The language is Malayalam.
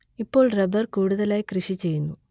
ഇപ്പോൾ റബ്ബർ കൂടുതലായി കൃഷി ചെയ്യുന്നു